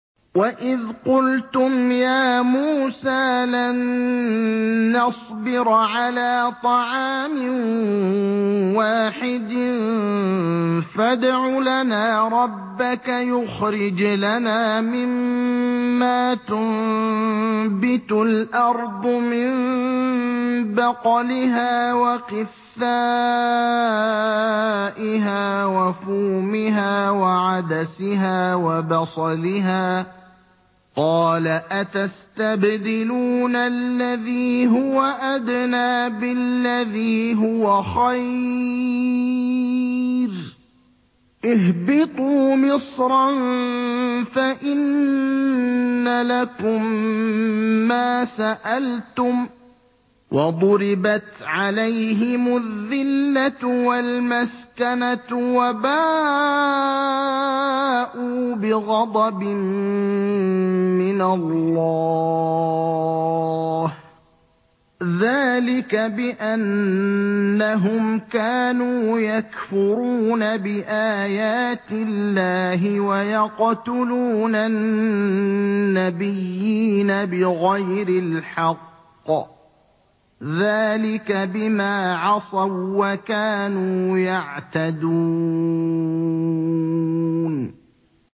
وَإِذْ قُلْتُمْ يَا مُوسَىٰ لَن نَّصْبِرَ عَلَىٰ طَعَامٍ وَاحِدٍ فَادْعُ لَنَا رَبَّكَ يُخْرِجْ لَنَا مِمَّا تُنبِتُ الْأَرْضُ مِن بَقْلِهَا وَقِثَّائِهَا وَفُومِهَا وَعَدَسِهَا وَبَصَلِهَا ۖ قَالَ أَتَسْتَبْدِلُونَ الَّذِي هُوَ أَدْنَىٰ بِالَّذِي هُوَ خَيْرٌ ۚ اهْبِطُوا مِصْرًا فَإِنَّ لَكُم مَّا سَأَلْتُمْ ۗ وَضُرِبَتْ عَلَيْهِمُ الذِّلَّةُ وَالْمَسْكَنَةُ وَبَاءُوا بِغَضَبٍ مِّنَ اللَّهِ ۗ ذَٰلِكَ بِأَنَّهُمْ كَانُوا يَكْفُرُونَ بِآيَاتِ اللَّهِ وَيَقْتُلُونَ النَّبِيِّينَ بِغَيْرِ الْحَقِّ ۗ ذَٰلِكَ بِمَا عَصَوا وَّكَانُوا يَعْتَدُونَ